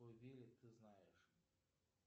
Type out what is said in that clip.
ты знаешь